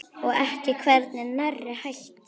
Og er hvergi nærri hætt.